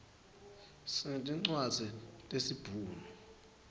sinetincwadzi tesibhunu